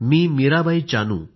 Mirabai Chanu